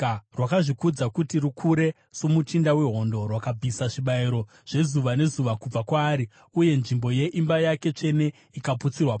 Rwakazvikudza kuti rukure soMuchinda wehondo, rwakabvisa zvibayiro zvezuva nezuva kubva kwaari, uye nzvimbo yeimba yake tsvene ikaputsirwa pasi.